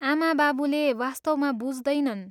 आमाबाबुले वास्तवमा बुझ्दैनन्।